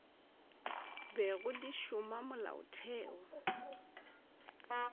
bego di šoma ge molaotheo